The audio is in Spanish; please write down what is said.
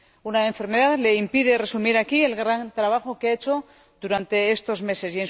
Una enfermedad le impide resumir aquí el gran trabajo que ha hecho durante estos meses.